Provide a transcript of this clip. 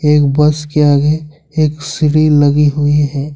एक बस के आगे एक सीढ़ी लगी हुई है।